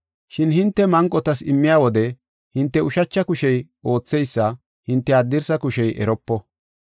Shin hinte manqotas immiya wode hinte ushacha kushey ootheysa hinte haddirsa kushey eropo;